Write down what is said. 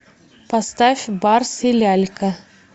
поставь барс и лялька